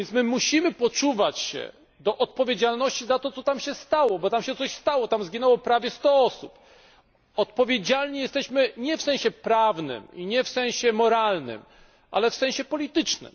Musimy poczuwać się do odpowiedzialności za to, co tam się stało, bo tam się coś stało tam zginęło prawie 100 osób. Odpowiedzialni jesteśmy nie w sensie prawnym, i nie w sensie moralnym, ale w sensie politycznym.